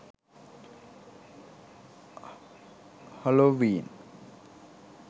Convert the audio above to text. halloween